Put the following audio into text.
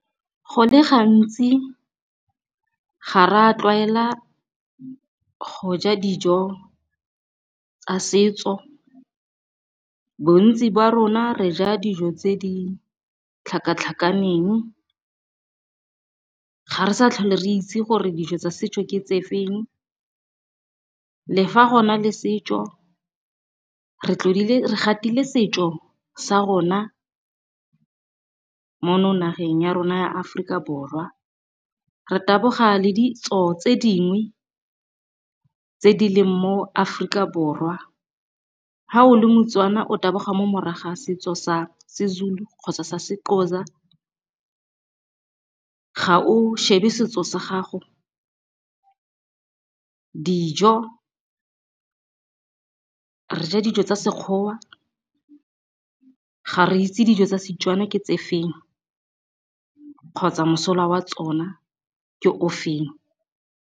Go le gantsi ga re a tlwaela go ja dijo tsa setso bontsi jwa rona re ja dijo tse di tlhakatlhakaneng. Ga re sa tlhole re itse gore dijo tsa setjo ke tsefeng, le fa gona le setjo re gatile setjo sa rona mono nageng ya rona ya Aforika Borwa. Re taboga le ditso tse dingwe tse di leng mo Aforika Borwa, ga o le Motswana o taboga mo morago ga setjo sa seZulu kgotsa sa seXhosa, ga o shebe setjo sa gago. Dijo re ja dijo tsa sekgowa ga re itse dijo tsa Setswana ke tse feng kgotsa mosola wa tsona ke ofeng.